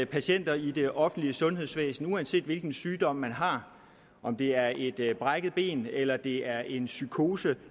patienter i det offentlige sundhedsvæsen uanset hvilken sygdom man har om det er et brækket ben eller det er en psykose